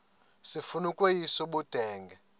sifuna ukweyis ubudenge